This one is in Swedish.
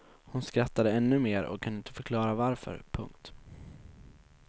Hon skrattade ännu mer och kunde inte förklara varför. punkt